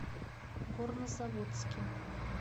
горнозаводске